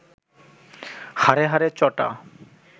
হাড়ে হাড়ে চটা